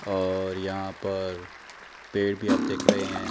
और यहां पर पेड़ भी आप देख रहे हैं।